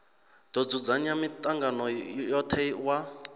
do dzudzanya mitangano yothe wa